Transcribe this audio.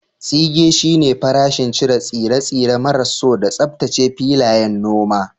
Tsige shine farashin cire tsire-tsire maras so da tsaftace filayen noma.